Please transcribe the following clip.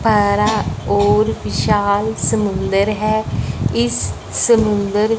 बरा और विशाल समुंदर है इस समुंदर--